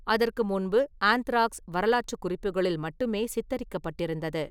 அதற்கு முன்பு ஆந்த்ராக்ஸ் வரலாற்றுக் குறிப்புகளில் மட்டுமே சித்தரிக்கப்பட்டிருந்தது.